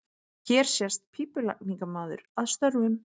Hér sést pípulagningamaður að störfum.